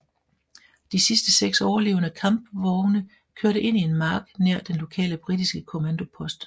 De sidste seks overlevende kampvogne kørte ind i en mark nær den lokale britiske kommandopost